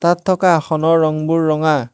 ইয়াত থকা আসনৰ ৰংবোৰ ৰঙা।